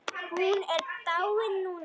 Hann er dáinn núna.